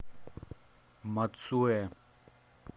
мацуэ